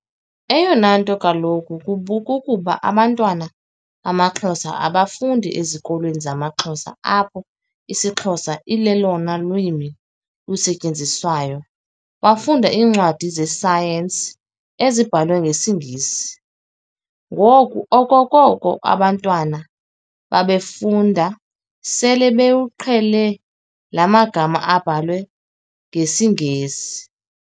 Eyona nto kaloku kukuba abantwana bamaXhosa abafunda ezikolweni zamaXhosa apho isiXhosa ilolona lwimi lusetyenziswayo bafunda iincwadi ze-science ezibhalwe ngesiNgesi. Ngoku okokoko abantwana befunda sele bewuqhele la magama ebhalwe ngesiNgesi.